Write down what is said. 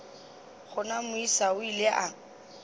gona moisa o ile a